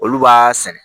Olu b'a sɛnɛ